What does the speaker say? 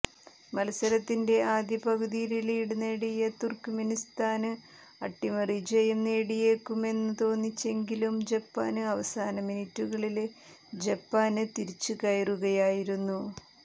മത്സരത്തിന്റെ ആദ്യ പകുതിയില് ലീഡ് നേടിയ തുര്ക്ക്മെനിസ്ഥാന് അട്ടിമറിജയം നേടിയേക്കുമെന്ന് തോന്നിച്ചെങ്കിലും ജപ്പാന് അവസാന മിനിറ്റുകളില് ജപ്പാന് തിരിച്ചുകയറുകയായിരുന്നു